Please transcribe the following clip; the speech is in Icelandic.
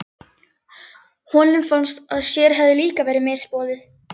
Honum fannst að sér hefði líka verið misboðið.